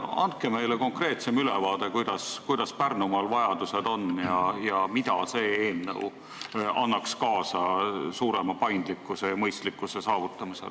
Andke meile konkreetsem ülevaade, millised on Pärnumaa vajadused ja kuidas see eelnõu aitaks kaasa suurema paindlikkuse ja mõistlikkuse saavutamisele.